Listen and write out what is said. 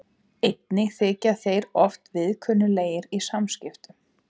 Einnig þykja þeir oft viðkunnanlegir í samskiptum.